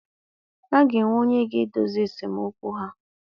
A ga-enwe onye ga-edozi esemokwu ha.